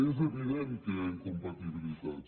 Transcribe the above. és evident que hi ha incompatibilitats